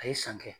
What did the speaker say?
A ye san kɛ